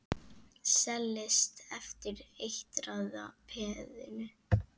Seilist eftir eitraða peðinu.